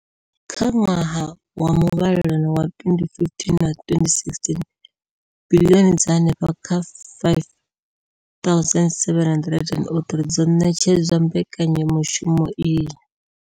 Kha ṅwaha wa muvhalelano wa 2015 na 2016, biḽioni dza henefha kha R5 703 dzo ṋetshedzwa mbekanya mushumo iyi.